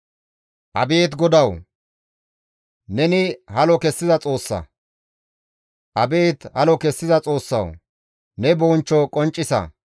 Abeet GODAWU! Neni halo kessiza Xoossa; Abeet halo kessiza Xoossawu! Ne bonchcho qonccisa.